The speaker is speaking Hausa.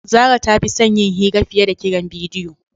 Zara ta fi son yin hira fiye da kiran bidiyo.